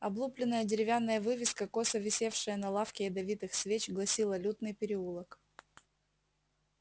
облупленная деревянная вывеска косо висевшая на лавке ядовитых свеч гласила лютный переулок